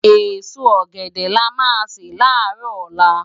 Esó ògèdè lá má jè lárò òlá